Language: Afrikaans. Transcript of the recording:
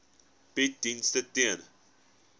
bied dienste ten